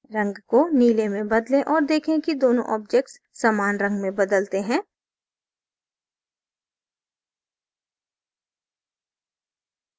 रंग को नीले में बदलें और देखें कि दोनों objects समान रंग में बदलते हैं